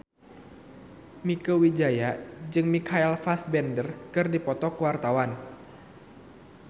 Mieke Wijaya jeung Michael Fassbender keur dipoto ku wartawan